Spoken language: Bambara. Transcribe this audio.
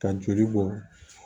Ka joli bɔ